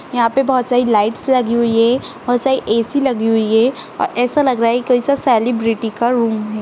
यहाँ पे बहोत सारी लाइट्स लगी हुई हैं बहोत सारी ए.सी. लगी हुई हैं और ऐसा लग रहा है कोई सा सेलिब्रिटी का रूम है।